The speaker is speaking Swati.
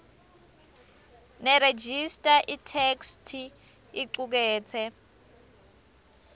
nerejista itheksthi icuketse